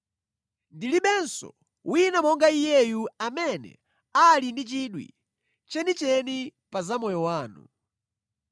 Ndilibenso wina monga iyeyu amene ali ndi chidwi chenicheni pa za moyo wanu.